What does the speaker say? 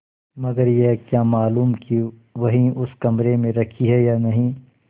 मगर यह क्या मालूम कि वही उसी कमरे में रखी है या नहीं